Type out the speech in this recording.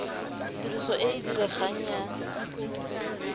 tiriso e e diregang ya